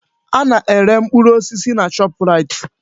Ana-ere mkpụrụ osisi na Shọpraịt.